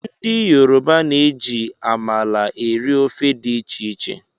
Ndị yoroba na-eji amala eri ofe dị iche iche